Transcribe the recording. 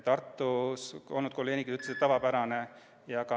Tartus olnud kolleegid ütlesid samuti, et see on tavapärane.